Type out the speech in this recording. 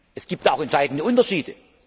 wird. Es gibt auch entscheidende Unterschiede.